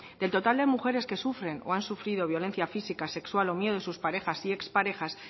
del total de mujeres que sufren o han sufrido violencia física sexual o miedo en sus parejas y ex parejas